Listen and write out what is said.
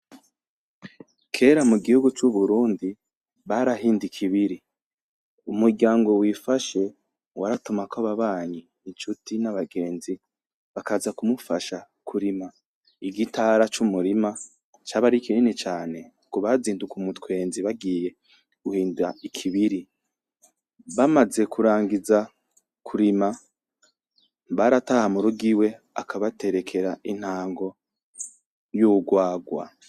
Kera mu gihugu c'Uburundi barahinda ikibiri, umuryango wifashe waratumako ababanyi; incuti; n'abagenzi bakaza kumufasha kurima igitara c'umurima, caba ari kinini cane, kubazinduka umutwenzi bagiye guhinda ikibiri, bamaze kurangiza kurima, barataha mu rugo iwe akabaterekera intango y'urwarwa.